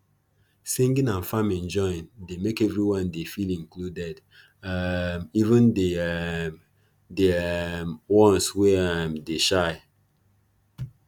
singing and farming join dey make everyone dey feel included um even de um de um ones wey um dey shy